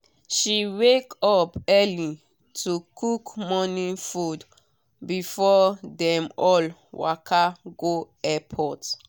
she wake up early to cook morning food before dem all waka go airport.